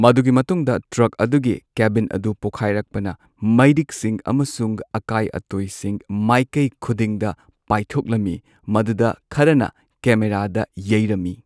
ꯃꯗꯨꯒꯤ ꯃꯇꯨꯡꯗ ꯇ꯭ꯔꯛ ꯑꯗꯨꯒꯤ ꯀꯦꯕꯤꯟ ꯑꯗꯨ ꯄꯣꯈꯥꯢꯔꯛꯄꯅ ꯃꯩꯔꯤꯛꯁꯤꯡ ꯑꯃꯁꯨꯡ ꯑꯀꯥꯢ ꯑꯇꯣꯢꯁꯤꯡ ꯃꯥꯢꯀꯩ ꯈꯨꯗꯤꯡꯗ ꯄꯥꯢꯊꯣꯛꯂꯝꯃꯤ, ꯃꯗꯨꯗ ꯈꯔꯅ ꯀꯦꯃꯦꯔꯥꯗ ꯌꯩꯔꯝꯃꯤ꯫